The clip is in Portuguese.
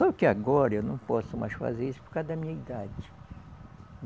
Só que agora eu não posso mais fazer isso por causa da minha idade.